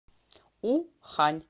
ухань